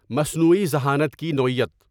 مصنوعی ذہانت کی نوعیت